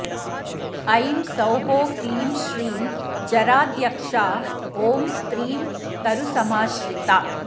ऐं सौः क्लीं श्रीं जराध्यक्षा ॐ स्त्रीं तरुसमाश्रिता